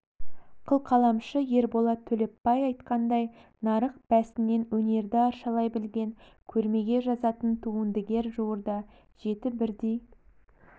қылқаламшы ерболат төлепбай айтқандай нарық бәсінен өнерді арашалай білген көрмеге жазатын туындыгер жуырда жеті бірдей